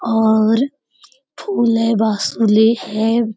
और फूल है बाँसुरी है ।